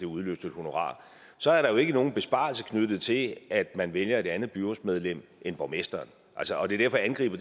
udløse et honorar så er der jo ikke nogen besparelse knyttet til at man vælger et andet byrådsmedlem end borgmesteren altså det er derfor jeg angriber